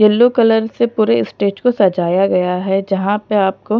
yellow colour से पूरे stage को सजाया गया है जहाँ पर आपको--